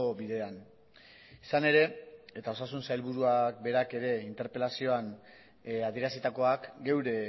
bidean izan ere eta osasun sailburuak berak ere interpelazioak adierazitakoak geure